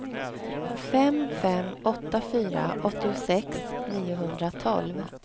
fem fem åtta fyra åttiosex niohundratolv